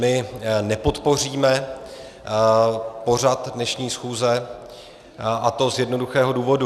My nepodpoříme pořad dnešní schůze, a to z jednoduchého důvodu.